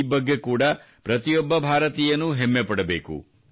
ಈ ಬಗ್ಗೆ ಕೂಡಾ ಪ್ರತಿಯೊಬ್ಬ ಭಾರತೀಯನೂ ಹೆಮ್ಮೆ ಪಡಬೇಕು